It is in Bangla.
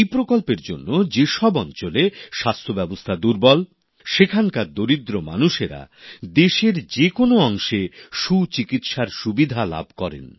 এই প্রকল্পের জন্যে যেসব অঞ্চলে স্বাস্থ্য ব্যবস্থা দুর্বল সেখানকার দরিদ্র মানুষেরা দেশের যে কোনো অংশে সুচিকিৎসার সুবিধা লাভ করেন